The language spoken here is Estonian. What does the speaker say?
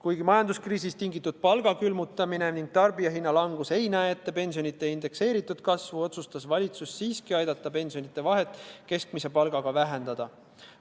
Kuigi majanduskriisist tingitud palga külmutamine ning tarbijahinna langus ei näe ette pensionide indekseeritud kasvu, otsustas valitsus siiski aidata pensionide ja keskmise palga vahet vähendada.